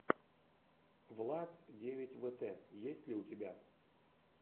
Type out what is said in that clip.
влад девять вэтэ есть ли у тебя